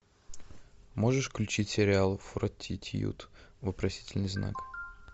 можешь включить сериал фортитьюд вопросительный знак